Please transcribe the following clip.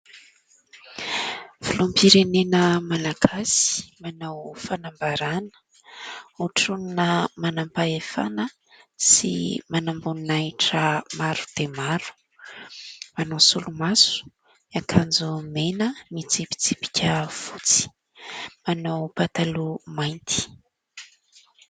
Filoham-pirenena malagasy manao fanambarana, hotronina manam-pahefana sy manamboninahitra maro dia maro. Manao solomaso, miankanjo mena mitsipitsipika fotsy, manao pataloha mainty.